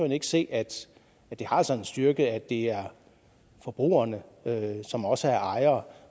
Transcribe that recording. ikke se at det altså har en styrke at det er forbrugerne som også er ejere